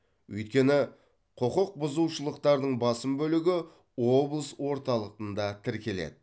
өйткені құқықбұзушылықтардың басым бөлігі облыс орталығында тіркеледі